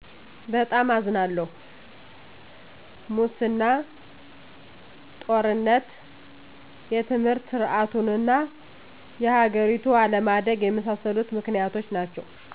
በጣም አዝናለሁ!! ሙሰና; ጦርነት; የትምህርት ሰርዓቱና የሀገሪቱ አለማደግ የመሣሠሉት ምክንያቶች ናቸዉ